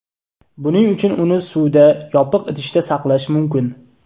Buning uchun uni suvda, yopiq idishda saqlash mumkin.